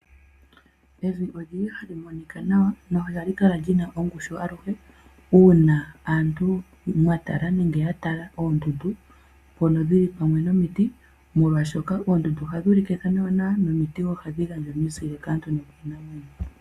Evi oli li hali monika nawa nohali kala li na ongushu aluhe uuna aantu mwa tala nenge ya tala oondundu mpono dhi li pamwe nomiti omolwashoka oondundu ohadhi ulike ethano ewanawa nomiti ohadhi gandja omizile kaantu nokiinamwenyo.